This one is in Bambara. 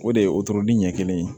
O de ye wotoro ɲɛ kelen ye